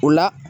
O la